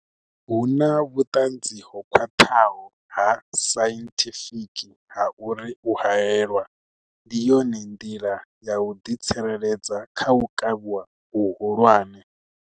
Huna vhuṱanzi ho khwaṱhaho ha sainthifiki ha uri u haelwa ndi yone nḓila ya u ḓi tsireledza kha u kavhiwa hu hulwane.